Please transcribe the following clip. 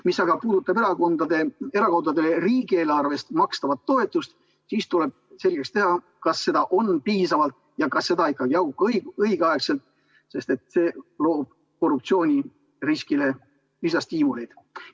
Mis aga puudutab erakondadele riigieelarvest makstavat toetust, siis tuleb selgeks teha, kas seda on piisavalt ja kas see ikka jaguneb õiglaselt, sest see loob korruptsiooniriskile lisastiimuleid.